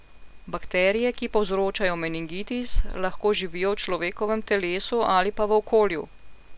Bakterije, ki povzročajo meningitis, lahko živijo v človekovem telesu ali pa v okolju.